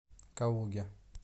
калуге